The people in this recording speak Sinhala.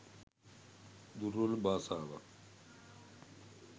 දුර්වල බාසාවක්